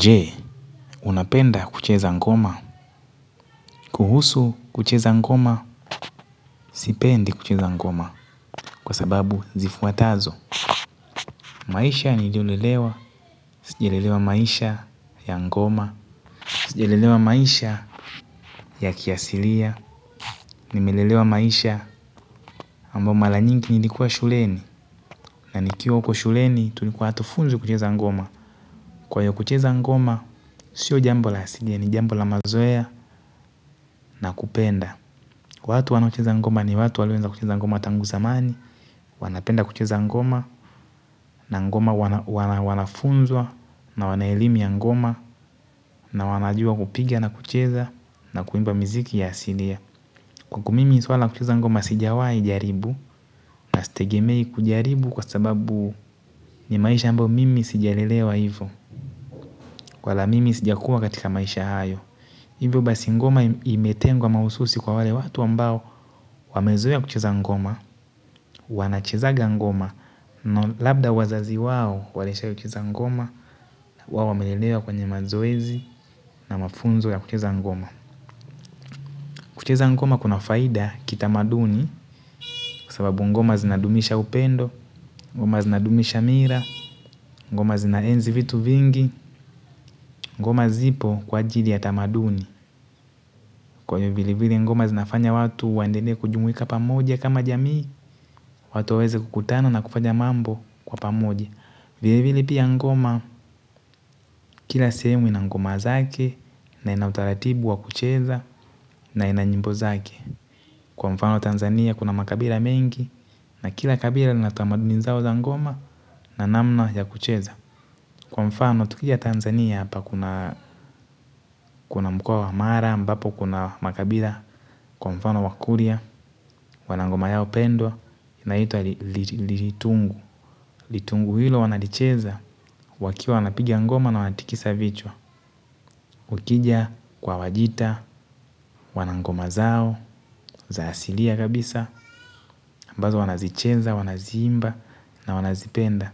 Je, unapenda kucheza ngoma? Kuhusu kucheza ngoma, sipendi kucheza ngoma. Kwa sababu zifuatazo. Maisha niliyolelewa, sijalelewa maisha ya ngoma. Sijalelewa maisha ya kiasilia. Nimelelewa maisha ambao mala nyingi nilikuwa shuleni. Na nikiwa huko shuleni tulikuwa hatufunzwi kucheza ngoma. Kwa hiyo kucheza ngoma, sio jambo la asilia, ni jambo la mazoea na kupenda. Watu wanaocheza ngoma ni watu walioweza kucheza ngoma tangu zamani, wanapenda kucheza ngoma, na ngoma wanafunzwa, na wana elimu ya ngoma, na wanajua kupiga na kucheza, na kuimba miziki ya asilia. Kwangu mimi suala la kucheza sijawai jaribu na sitegemei kujaribu kwa sababu ni maisha ambayo mimi sijalelewa hivyo wala mimi sijakua katika maisha hayo. Hivyo basi ngoma imetengwa mahususi kwa wale watu ambao wamezoea kucheza ngoma, wanachezaga ngoma, na labda wazazi wao walishawai kucheza ngoma, wao wamelelewa kwenye mazoezi na mafunzo ya kucheza ngoma. Kucheza ngoma kuna faida kitamaduni kwa sababu ngoma zinadumisha upendo, ngoma zinadumisha mira, ngoma zinaenzi vitu vingi, ngoma zipo kwa ajili ya tamaduni. Kwa hiyo vile vile ngoma zinafanya watu waendelee kujumuika pamoja kama jamii, watu waeze kukutana na kufanya mambo kwa pamoja. Vile vile pia ngoma kila sehemu ina ngoma zake na ina utaratibu wa kucheza na ina nyimbo zake. Kwa mfano Tanzania kuna makabila mengi na kila kabila lina tamaduni zao za ngoma na namna ya kucheza. Kwa mfano tukija Tanzania hapa kuna mkoa wa mara ambapo kuna makabila kwa mfano wakuria wana ngoma yao pendwa inaitwa litungu. Litungu hilo wanalicheza wakiwa wanapiga ngoma na wanatikisa vichwa ukija kwa wajita wana ngoma zao za asilia kabisa ambazo wanazicheza wanaziimba na wanazipenda.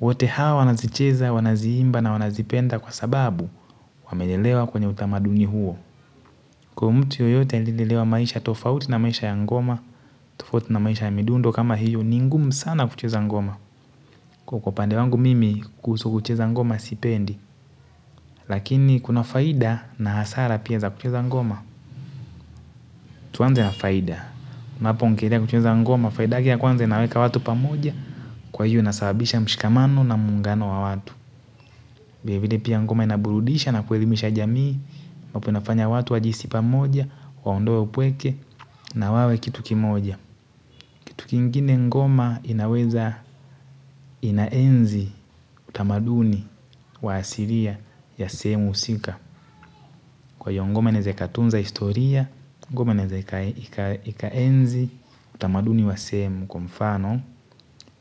Wote hawa wanazicheza, wanaziimba na wanazipenda kwa sababu wamelelewa kwenye utamaduni huo kwa mtu yoyote alilelewa maisha tofauti na maisha ya ngoma. Tofauti na maisha ya midundo kama hiyo ni ngumu sana kucheza ngoma kwa kwa upande wangu mimi kuhusu kucheza ngoma sipendi. Lakini kuna faida na hasara pia za kucheza ngoma. Tuanze na faida napoongelea kucheza ngoma, faida yake ya kwanza inaweka watu pamoja. Kwa hiyo inasababisha mshikamano na muungano wa watu vile vile pia ngoma inaburudisha na kuelimisha jamii ambapo inafanya watu wajihisi pamoja, waondoe upweke na wawe kitu kimoja kitu kingine ngoma inaweza inaenzi utamaduni wa asiria ya sehemu husika. Kwa hiyo ngoma inaeze ikatunza historia, ngoma inaeze ikaenzi utamaduni wa sehemu kwa mfano,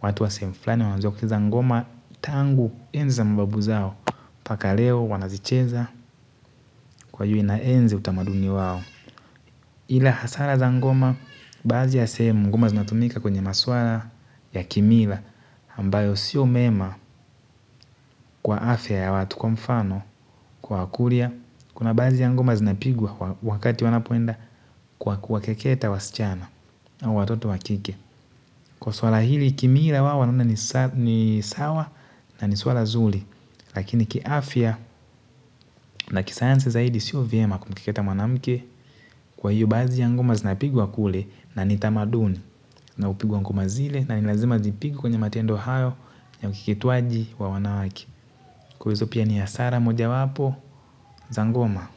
watu wa sehemu flani wanajua kucheza ngoma tangu enzi za mababu zao. Paka leo wanazicheza kwa hiyo inaenzi utamaduni wao. Ila hasara za ngoma, baadhi ya sehemu ngoma zinatumika kwenye maswala ya kimila. Ambayo sio mema kwa afya ya watu kwa mfano kwa wakuria. Kuna baadhi ya ngoma zinapigwa wakati wanapoenda kuwakeketa wasichana. Na watoto wa kike. Kwa swala hili kimiila wao wanaona ni sawa na ni swala zuli. Lakini kiafya na kisayansi zaidi sio vema kumkeketa mwanamke. Kwa hiyo baadhi ya ngoma zinapigwa kule na ni tamaduni na hupigwa ngoma zile na ni lazima zipigwe kwenye matendo hayo ya ukeketwaji wa wanawake. Kwa hizo pia ni hasara mojawapo za ngoma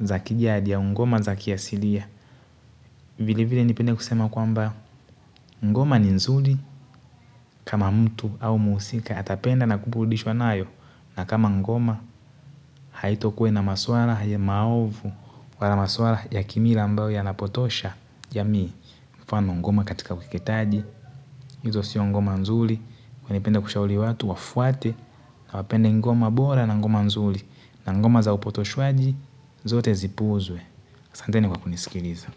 za kijadi au ngoma za kiasilia. Vili vile nipende kusema kwamba ngoma ni nzuli kama mtu au mhusika atapenda na kuburudishwa nayo na kama ngoma haitokua ina maswara haya maovu kwa la maswara ya kimila ambayo yanapotosha jamii. Mfano ngoma katika ukeketaji. Hizo sio ngoma nzuli ningependa kushauri watu wafuate na wapende ngoma bora na ngoma nzuli na ngoma za upotoshwaji zote zipuuzwe. Asanteni kwa kunisikiliza.